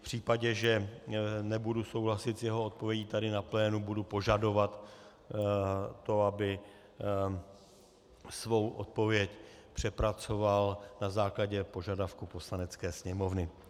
V případě, že nebudu souhlasit s jeho odpovědí tady na plénu, budu požadovat to, aby svou odpověď přepracoval na základě požadavku Poslanecké sněmovny.